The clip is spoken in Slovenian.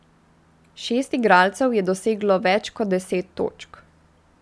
Šest igralcev je doseglo več kot deset točk.